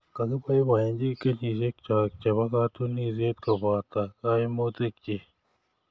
Kakiboibochi kenyisiekcho chebo katunisyet koboto kaimutiikchi.